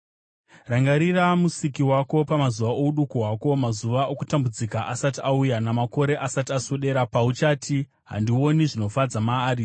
Rangarira Musiki wako pamazuva ouduku hwako, mazuva okutambudzika asati auya, namakore asati aswedera pauchati, “Handioni zvinofadza maari,”